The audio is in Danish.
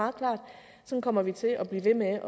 som kommer vi til at blive ved med